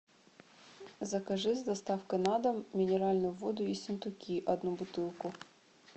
закажи с доставкой на дом минеральную воду ессентуки одну бутылку